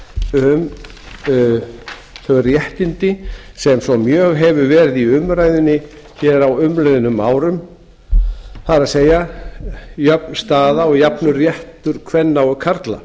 um þau réttindi sem mjög hafa verið í umræðunni hér á umliðnum árum það er jöfn stað og jafn réttur kvenna og karla